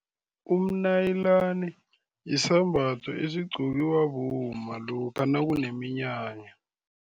Umnayilani yisambatho esigqokiwa bomma lokha nakuneminyanya.